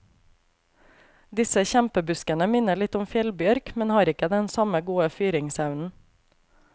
Disse kjempebuskene minner litt om fjellbjørk, men har ikke den samme gode fyringsevnen.